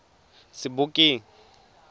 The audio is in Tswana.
sebokeng